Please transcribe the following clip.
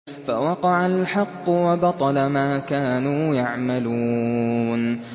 فَوَقَعَ الْحَقُّ وَبَطَلَ مَا كَانُوا يَعْمَلُونَ